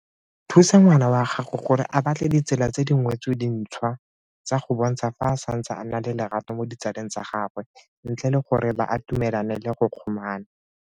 Thusa ngwana wa gago gore a batle ditsela tse dingwetse dintšhwa tsa go bontsha fa a santse a na le lerato mo ditsaleng tsa gagwe, ntle le gore ba atumelane le go kgomana.